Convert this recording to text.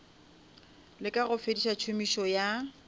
leka go fediša tšhomišo ya